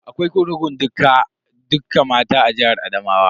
Akwai kurkukun dukka mata a jihar Adamawa.